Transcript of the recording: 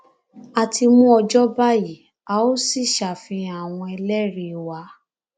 a ti mú ọjọ báyìí a óò sì ṣàfihàn àwọn ẹlẹrìí wa